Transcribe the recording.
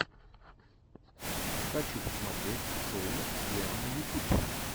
хочу посмотреть шоу диана ютуб